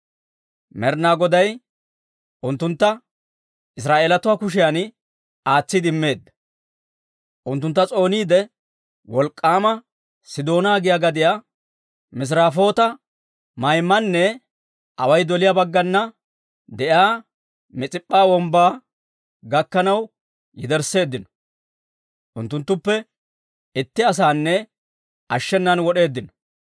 Med'ina Goday unttuntta Israa'eelatuu kushiyan aatsiide immeedda. Unttuntta s'ooniide, Wolk'k'aama Sidoona giyaa gadiyaa, Misirafoota-Maymanne away doliyaa baggana de'iyaa Mis'ip'p'a Wombbaa gakkanaw yedersseeddino. Unttunttuppe itti asaanne ashshenan wod'eeddino.